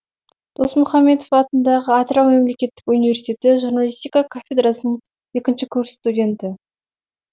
досмұхамедов атындағы атырау мемлекеттік университеті журналистика кафедрасының екінші курс студенті